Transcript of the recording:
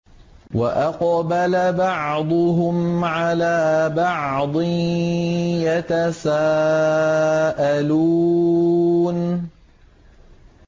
وَأَقْبَلَ بَعْضُهُمْ عَلَىٰ بَعْضٍ يَتَسَاءَلُونَ